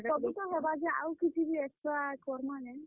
ସବୁ ତ ହେବା ଯେ, ଆଉ କିଛି ବି extra କର୍ ମା କେଁ?